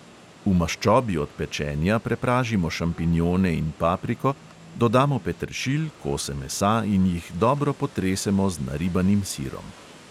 V maščobi od pečenja prepražimo šampinjone in papriko, dodamo peteršilj, kose mesa in jih dobro potresemo z naribanim sirom.